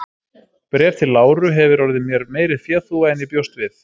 Bréf til Láru hefir orðið mér meiri féþúfa en ég bjóst við.